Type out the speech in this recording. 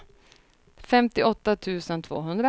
femtioåtta tusen tvåhundra